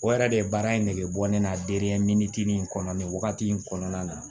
O yɛrɛ de baara in nege bɔ ne la in kɔnɔ nin wagati in kɔnɔna na